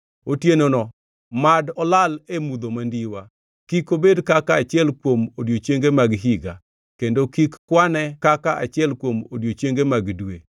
Otienono, mad olal e mudho mandiwa; kik obed kaka achiel kuom odiechienge mag higa, kendo kik kwane kaka achiel kuom odiechienge mag dwe.